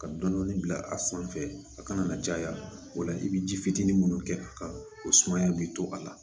Ka dɔɔnin dɔɔnin bila a sanfɛ a kana na caya o la i bɛ ji fitinin minnu kɛ a kan o sumaya bɛ to a la